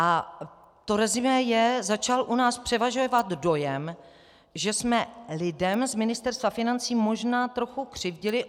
A to resumé je: Začal u nás převažovat dojem, že jsme lidem z Ministerstva financí možná trochu křivdili.